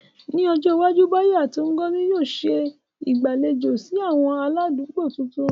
Ní ọjọ́ iwájú, Bayo àti Ngozi yóò ṣe ìgbàlejò sí àwọn aládùúgbò tuntun.